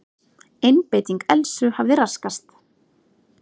Einbeiting Elsu hafði raskast.